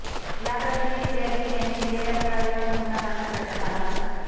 या प्रकरणी फिर्यादी यांनी दिलेल्या तक्रारीवरून गुन्हा दाखल करण्यात आला होता